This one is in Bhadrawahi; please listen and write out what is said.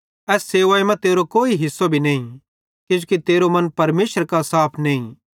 एस सेवाई मां तेरो कोई भी हिस्सो नईं किजोकि तेरो मन परमेशरे कां साफ नईं